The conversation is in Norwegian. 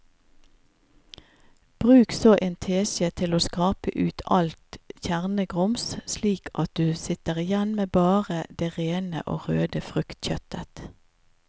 Bruk så en teskje til å skrape ut alt kjernegrums slik at du sitter igjen med bare det rene og røde fruktkjøttet.